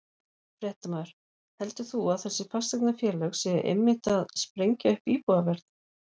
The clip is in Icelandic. Fréttamaður: Heldur þú að þessi fasteignafélög séu einmitt að sprengja upp íbúðaverð?